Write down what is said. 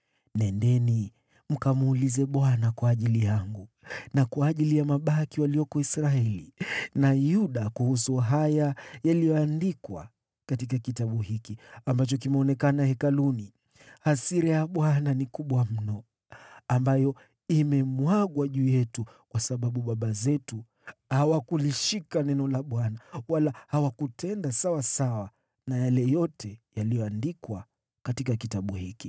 “Nendeni mkamuulize Bwana kwa ajili yangu na kwa ajili ya mabaki walioko Israeli na Yuda kuhusu yale yaliyoandikwa ndani ya kitabu hiki ambacho kimepatikana. Hasira ya Bwana ni kubwa mno ambayo imemwagwa juu yetu kwa sababu baba zetu hawakulishika neno la Bwana wala hawajatenda kulingana na yale yote yaliyoandikwa katika Kitabu hiki.”